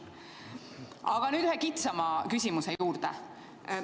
Aga nüüd ühe kitsama küsimuse juurde.